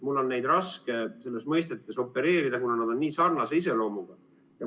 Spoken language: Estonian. Mul on raske nende mõistetega opereerida, kuna nad on nii sarnase iseloomuga.